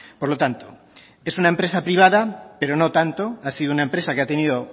por lo tanto es una empresa privada pero no tanto ha sido una empresa que ha tenido